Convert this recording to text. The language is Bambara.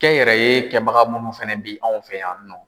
Kɛnyɛrɛye kɛbaga munnu fɛnɛ bɛ anw fɛ yan nɔ.